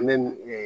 An bɛ